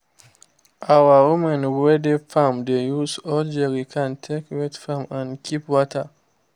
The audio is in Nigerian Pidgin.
our women wey dey farm dey use old jerrycan take wet farm and keep water